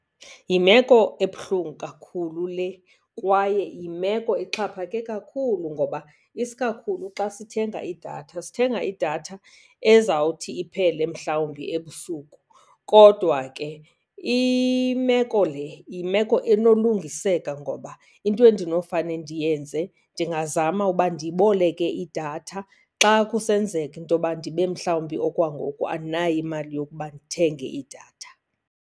Yimeko ebuhlungu kakhulu le kwaye yimeko exhaphake kakhulu, ngoba isikakhulu xa sithenga idatha sithenga idatha ezawuthi iphele mhlawumbi ebusuku. Kodwa ke imeko le yimeko enolungiseka, ngoba into endinofane ndiyenze ndingazama uba ndiboleke idatha xa kusenzeka into yoba ndibe mhlawumbi okwangoku andinayo imali yokuba ndithenge idatha.